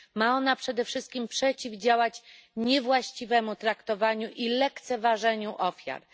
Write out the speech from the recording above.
Ma ona przede wszystkim przeciwdziałać niewłaściwemu traktowaniu i lekceważeniu ofiar.